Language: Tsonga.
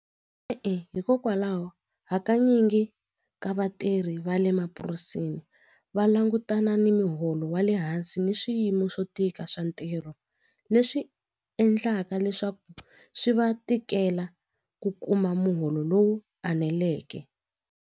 E-e, hikokwalaho hakanyingi ka vatirhi va le mapurasini va langutana ni muholo wa le hansi ni swiyimo swo tika swa ntirho leswi endlaka leswaku swi va tikela ku kuma muholo lowu eneleke.